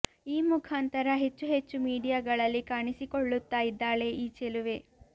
ಈ ಮುಖಾಂತರ ಹೆಚ್ಚು ಹೆಚ್ಚು ಮೀಡಿಯಗಳಲ್ಲಿ ಕಾಣಿಸಿಕೊಳ್ಳುತ್ತಾ ಇದ್ದಾಳೆ ಈ ಚೆಲುವೆ